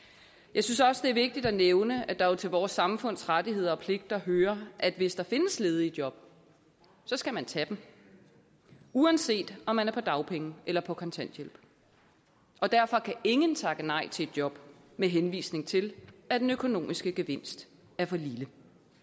jeg synes også det er vigtigt at nævne at der jo til vores samfunds rettigheder og pligter hører at hvis der findes ledige job skal man tage dem uanset om man er på dagpenge eller på kontanthjælp og derfor kan ingen takke nej til et job med henvisning til at den økonomiske gevinst er for lille